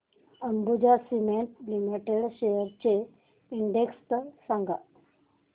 Ambuja cement limited shares चा index सांगा